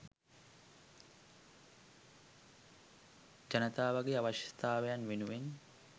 ජනතාවගේ අවශ්‍යතාවයන් වෙනුවෙන්